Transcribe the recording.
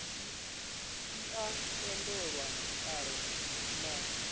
e a tendelwa kale na